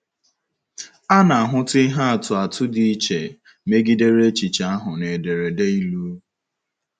A na-ahụta ihe atụ atụ dị iche megidere echiche ahụ na ederede Ilu.